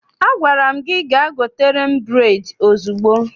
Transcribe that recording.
Agwara m gị gaa gotere m bureedi ozugbo!